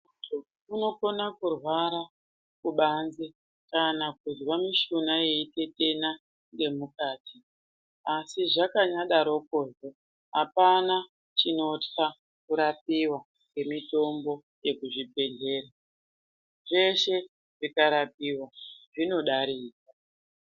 Munhu unokona kurwara kubanze kana kuzwa mishuna yeitetena ngemukati asi zvakanyadaroko apana chinotya kurapiwa ngemitombo yekuchibhedhleya. Zvese zvikarapiwa zvinodarika.